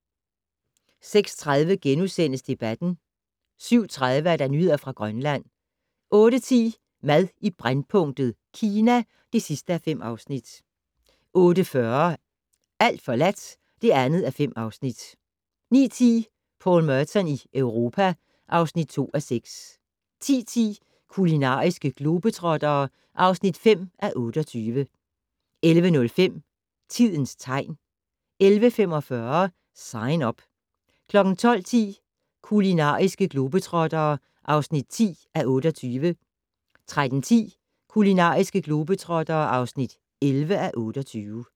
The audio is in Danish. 06:30: Debatten * 07:30: Nyheder fra Grønland 08:10: Mad i brændpunktet: Kina (5:5) 08:40: Alt forladt (2:5) 09:10: Paul Merton i Europa (2:6) 10:10: Kulinariske globetrottere (5:28) 11:05: Tidens tegn 11:45: Sign Up 12:10: Kulinariske globetrottere (10:28) 13:10: Kulinariske globetrottere (11:28)